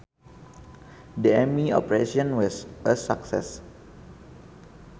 The Army operation was a success